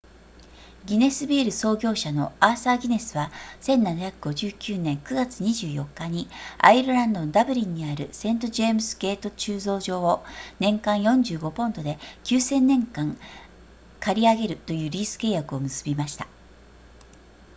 ギネスビール創業者のアーサーギネスは1759年9月24日にアイルランドのダブリンにあるセントジェームズゲート醸造所を年間45ポンドで 9,000 年間賃り上げるというリース契約を結びました